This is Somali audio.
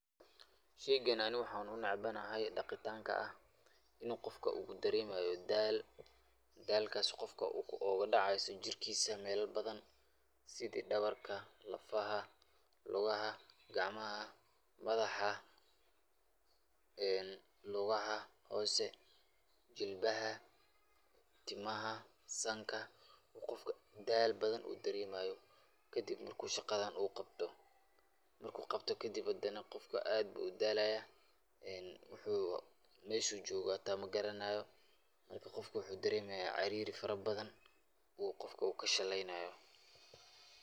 Sheygan aniga waxan unecbanahay dhaqitanka ah inu qofka uu dareemayo daal, daalkas qofka uu oga dhacayo jirkiisa mela badan sidi dhabarka, lafaha, lugaha, gacmaha, madaxa ee lugaha hoose jilbaha, timaha sanka oo qofka daal badan uu dareemayo kadib shaqadan uu qabto, marku qabto kadib qofka aad buu udaalaya uu meshu jogo hata magaranayo, marka qofka wuxuu dareemaya caariri fara badan uu qofka u kashalaynayo